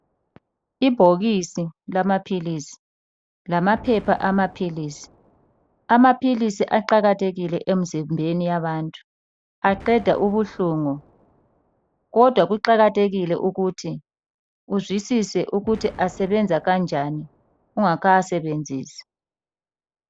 Ibhokisi lamaphilisi ,lamaphepha amaphilisi. Amaphilisi aqakathekile emzimbeni yabantu aqeda ubuhlungu. Kodwa kuqakathekile ukuthi uzwisise ukuthi asebenza kanjani ungakawasebenzisi.